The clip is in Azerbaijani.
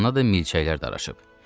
Canına da milçəklər daraşıb.